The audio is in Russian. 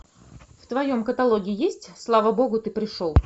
в твоем каталоге есть слава богу ты пришел